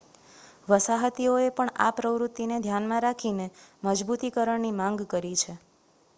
વસાહતીઓએ પણ આ પ્રવૃત્તિને ધ્યાનમાં રાખીને મજબૂતીકરણની માંગ કરી છે